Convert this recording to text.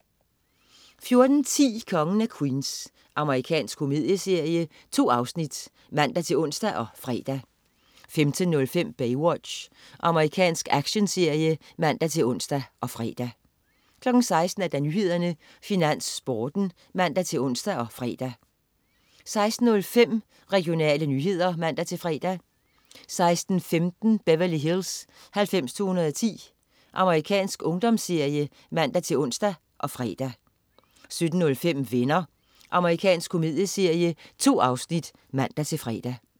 14.10 Kongen af Queens. Amerikansk komedieserie. 2 afsnit (man-ons og fre) 15.05 Baywatch. Amerikansk actionserie (man-ons og fre) 16.00 Nyhederne, Finans, Sporten (man-ons og fre) 16.05 Regionale nyheder (man-fre) 16.15 Beverly Hills 90210. Amerikansk ungdomsserie (man-ons og fre) 17.05 Venner. Amerikansk komedieserie. 2 afsnit (man-fre)